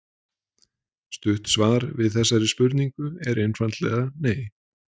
Stutt svar við þessari spurningu er einfaldlega nei!